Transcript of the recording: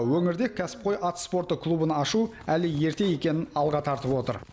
өңірде кәсіпқой ат спорты клубын ашу әлі ерте екенін алға тартып отыр